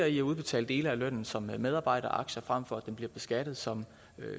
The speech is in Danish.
i at udbetale dele af lønnen som medarbejderaktier frem for at den bliver beskattet som